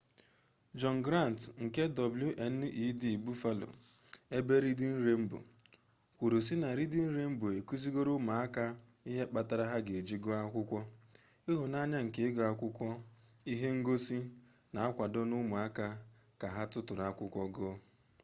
john grant nke wned buffaloebe reading rainbow kwuru si na reading rainbow ekuzigoro umuaka ihe kpatara ha ga eji guo akwukwo ...ihunanya nke igu akwukwo -[ihe ngosi] na-akwado umuaka ka ha tuturu akwukwo guo.